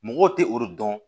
Mɔgɔw tɛ o dɔn